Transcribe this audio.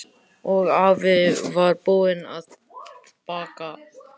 Og afi var búinn að baka.